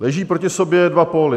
Leží proti sobě dva póly.